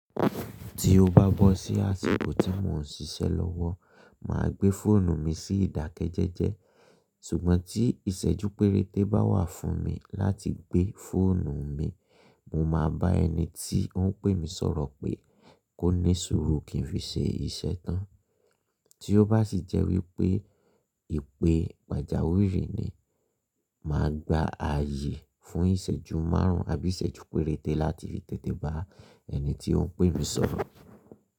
Tí ó bá bọ́ sí àsìkò tí mò ń ṣiṣẹ́ lọ́wọ́, mà á gbé fóònù mi sí ìdákẹ́jẹẹ́jẹ́. Sùgbọ́n tí ìṣẹ́jú péréte bá wà fún mi láti gbé fóònù mi, mo máa bá ẹni tí ó ń pè mi sọ̀rọ̀ pé kó ní sùúrù kí n fi ṣe iṣẹ́ tán. Tí ó bá sì jẹ́ wípé ìpè pàjáwìrì ni, mà á gba ààyè fún ìṣẹ́jú márùn ún àbí ìṣẹ́jú péréte láti fi tètè bá ẹni tí ó ń pè mi sọ̀rọ̀.